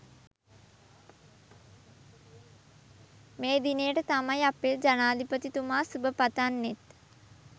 මේ දිනේට තමයි අපේ ජනාධිපතිතුමා සුබ පතන්නෙත්